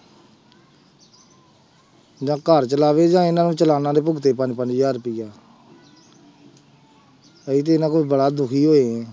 ਜਾਂ ਘਰ ਚਲਾਵੇ ਜਾਂ ਇਹਨਾਂ ਨੂੰ ਚਲਾਣਾਂ ਦੇ ਭੁਗਤੇ ਪੰਜ ਪੰਜ ਹਜ਼ਾਰ ਰੁਪਇਆ ਅਸੀਂ ਤੇ ਇਹਨਾਂ ਕੋਲੋਂ ਬੜਾ ਦੁਖੀ ਹੋਏ।